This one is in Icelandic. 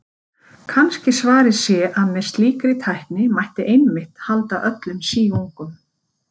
Kannski svarið sé að með slíkri tækni mætti einmitt halda öllum síungum.